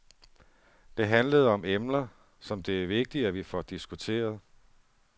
Det handlede om emner, som det er vigtigt, at vi får diskuteret.